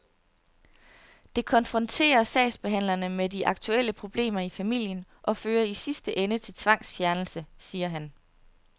Det konfronterer sagsbehandlerne med de aktuelle problemer i familien og fører i sidste ende til tvangsfjernelse, siger han.